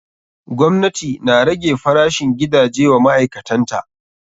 Gwamnati na rage farashin gidaje wa ma'aikatan ta.